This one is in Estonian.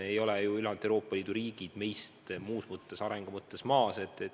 Ei ole ju ülejäänud Euroopa Liidu riigid meist arengu mõttes maas.